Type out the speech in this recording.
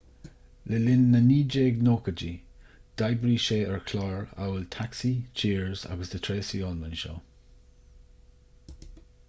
le linn na 1980idí d'oibrigh sé ar chláir amhail taxi cheers agus the tracy ullman show